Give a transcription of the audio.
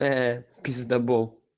пэ пиздабол